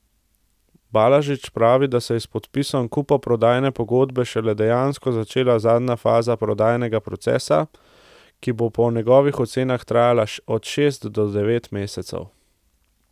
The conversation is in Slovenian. Balažič pravi, da se je s podpisom kupoprodajne pogodbe šele dejansko začela zadnja faza prodajnega procesa, ki bo po njegovih ocenah trajala od šest do devet mesecev.